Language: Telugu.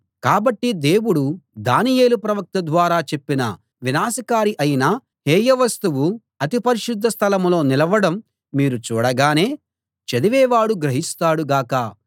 కాబట్టి దేవుడు దానియేలు ప్రవక్త ద్వారా చెప్పిన వినాశకారి అయిన హేయ వస్తువు అతి పరిశుద్ధ స్థలంలో నిలవడం మీరు చూడగానే చదివేవాడు గ్రహిస్తాడు గాక